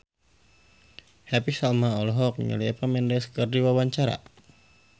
Happy Salma olohok ningali Eva Mendes keur diwawancara